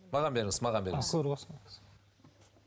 маған беріңіз маған беріңіз